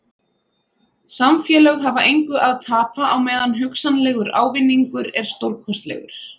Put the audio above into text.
Samfélög hafa engu að tapa á meðan hugsanlegur ávinningur er stórkostlegur.